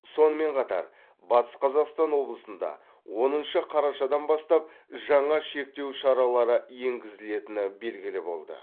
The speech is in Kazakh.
сонымен қатар батыс қазақстан облысында оныншы қарашадан бастап жаңа шектеу шаралары енгізілетіні белгілі болды